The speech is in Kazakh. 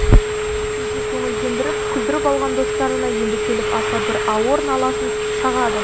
кейде көңілдендіріп күлдіріп алған достарына енді келіп аса бір ауыр наласын шағады